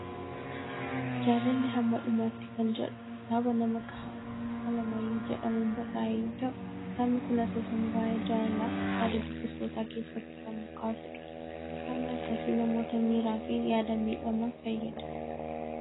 Jaalalli hamma dhumaatti kan jedhu kitaaba nama Kehaaddis Alamaayyoo jedhamuun barraa'e yoo ta'u, ktaabni kun asoosama waa'ee jaalalaa yaada dubbistootaa keessatti kan kaasudha. Kitaabni akkasii namoota miiraa fi yaadaan miidhaman fayyada.